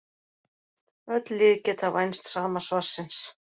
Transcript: Öll lið geta vænst sama svarsins.